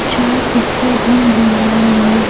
चार कुर्सियां भी नजर आ रही हैं।